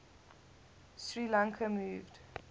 sri lanka moved